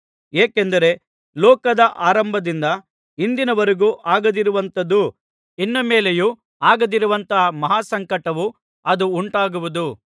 ಏಕೆಂದರೆ ಲೋಕದ ಅರಂಭದಿಂದ ಇಂದಿನವರೆಗೂ ಆಗದಿರುವಂಥದ್ದು ಇನ್ನು ಮೇಲೆಯೂ ಆಗದಿರುವಂತಹ ಮಹಾ ಸಂಕಟವು ಅಂದು ಉಂಟಾಗುವುದು